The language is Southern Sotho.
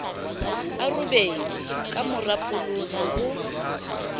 a robedi kamora polotso ho